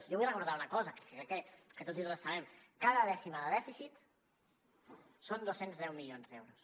jo vull recordar una cosa que crec que tots i totes sabem cada dècima de dèficit són dos cents i deu milions d’euros